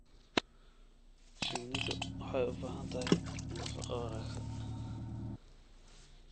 Shinnidu waxay u baahan tahay nafaqo wanaagsan.